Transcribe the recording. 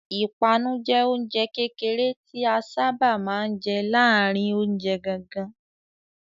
Ìpanu jẹ oúnjẹ kékeré tí a sáábà máa ń jẹ láàárin oúnjẹ gangan.